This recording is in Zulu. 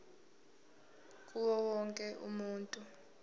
kuwo wonke umuntu